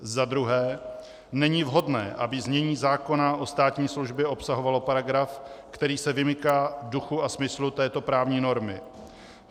Za druhé, není vhodné, aby znění zákona o státní službě obsahovalo paragraf, který se vymyká duchu a smyslu této právní normy.